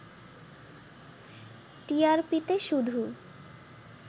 টিআরপিতে শুধু